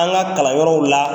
An ka kalan yɔrɔw la